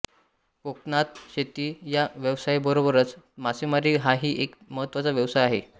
कोकणात शेती या व्यवसायाबरोबरच मासेमारी हाही एक महत्त्वाचा व्यवसाय आहे